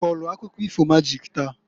I kọlụ akụkọ ifo majik taa?